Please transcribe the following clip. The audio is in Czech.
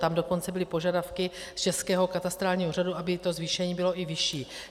Tam dokonce byly požadavky z Českého katastrálního úřadu, aby to zvýšení bylo i vyšší.